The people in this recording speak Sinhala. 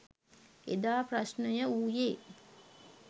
එදා ප්‍රශ්නය වූයේ